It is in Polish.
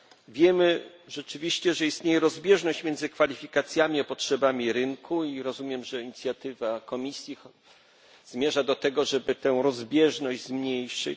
Wiemy rzeczywiście, że istnieje rozbieżność między kwalifikacjami a potrzebami rynku i rozumiem, że inicjatywa Komisji zmierza do tego, żeby tę rozbieżność zmniejszyć.